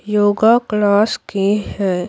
Yoga class की है।